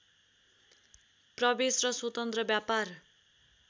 प्रवेश र स्वतन्त्र व्यापार